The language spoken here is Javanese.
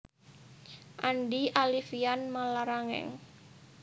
Andi Alifian Mallarangeng